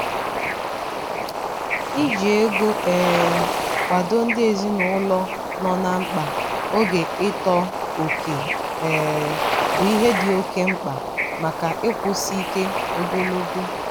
“iji ego um akwado ndị ezinụlọ nọ na mkpa oge ịtọ oke um bụ ihe dị oke mkpa maka ịkwụsị ike ogologo.”